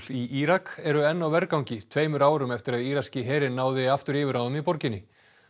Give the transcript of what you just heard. í Írak eru enn á vergangi tveimur árum eftir að írakski herinn náði aftur yfirráðum í borginni